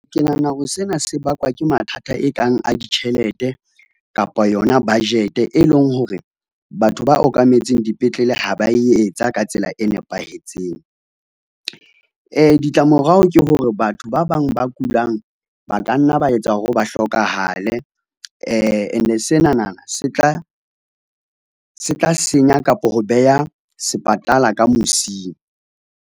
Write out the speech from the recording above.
Ke nahana hore sena se bakwa ke mathata e kang a ditjhelete, kapa yona budget e leng hore batho ba okametseng dipetlele ha ba etsa ka tsela e nepahetseng. Ditlamorao ke hore batho ba bang ba kulang ba ka nna ba etsa hore ba hlokahale ene senana se tla senya kapa ho beha sepatala ka mosing.